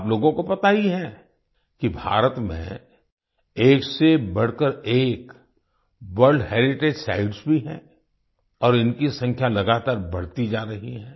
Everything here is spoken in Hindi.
आप लोगों को पता ही है कि भारत में एक से बढ़कर एक वर्ल्ड हेरिटेज साइट्स भी हैं और इनकी संख्या लगातार बढती जा रही है